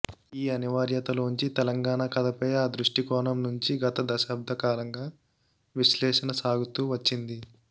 ఈ అనివార్యతలోంచే తెలంగాణ కథపై ఆ దృష్టికోణం నుంచి గత థాబ్దకాలంగా విశ్లేషణ సాగుతూ వచ్చింది